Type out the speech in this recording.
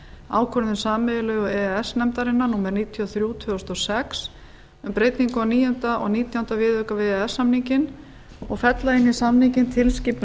ákvörðun sameiginlegu e e s nefndarinnar númer níutíu og þrjú tvö þúsund og sex um breytingu á níunda og nítjánda viðauka við e e s samninginn og fella inn í samninginn tilskipun